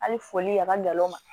Hali foli a ka n'o ma